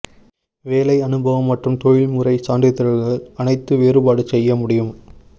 வேலை அனுபவம் மற்றும் தொழில்முறை சான்றிதழ்கள் அனைத்து வேறுபாடு செய்ய முடியும்